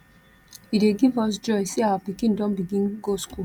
e dey give us joy sey our pikin don begin go skool